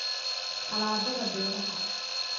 Alaabada beeraha